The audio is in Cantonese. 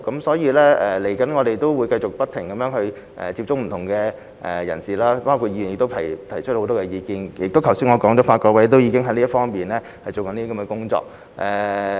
所以，我們接下來會繼續不停接觸不同的人士，包括議員也提出很多意見，而我剛才亦提到，法改會已經進行有關工作。